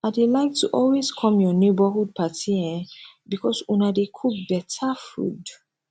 i dey like to always come your neighborhood party eh because una dey cook better food